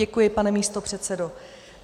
Děkuji, pane místopředsedo.